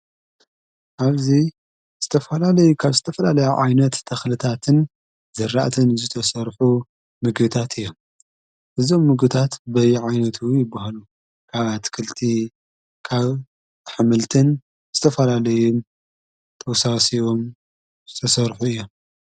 ኣብዙይ ስተፈላለይ ካብ ስተፈላለዮ ዓይነት ተኽልታትን ዘራእትን ዘተሠርሑ ምግታት እዮም እዞም ምግታት በይ ዓይነት ይብሃሉ ካብ ኣትክልቲ ካብ ሓምልትን እስተፈላለይ ተውሳሰዎም ዝተሠርሑ እዮ።